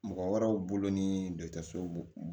Mɔgɔ wɛrɛw bolo ni dɔgɔtɔrɔsow